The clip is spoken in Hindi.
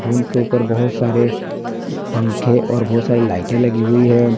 रूम के ऊपर बहुत सारे पंखे और बहुत सारे लाइट लगी हुई है।